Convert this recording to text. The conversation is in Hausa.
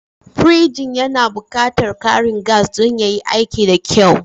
Pirjin yana buƙatar ƙarin gas don yayi aiki da kyau.